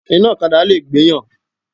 Iná ọ̀kadà lè gbéyàn.